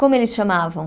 Como eles chamavam?